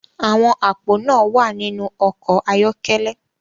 Àwọn àpò náà wà nínú ọkọ̀ ayọ́kẹ́lẹ́